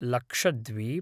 Lakshadweep